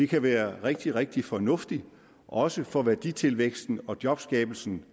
kan være rigtig rigtig fornuftigt også for værditilvæksten og jobskabelsen